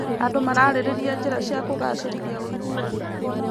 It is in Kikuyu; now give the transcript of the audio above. Andũ mararĩrĩria njĩra cia kũgacĩrithia ũiguano.